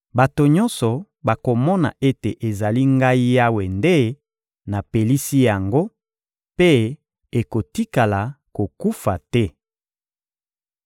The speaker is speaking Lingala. Bato nyonso bakomona ete ezali Ngai Yawe nde napelisi yango; mpe ekotikala kokufa te.›»